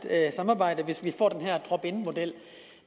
samarbejde hvis vi får den her opt in model